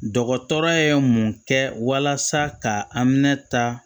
Dɔgɔtɔrɔ ye mun kɛ walasa ka an minɛ ta